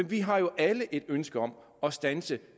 vi har jo alle et ønske om at standse